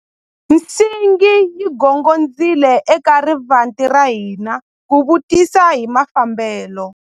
Nsingi yi gongondzile eka rivanti ra hina ku vutisa hi mafambelo.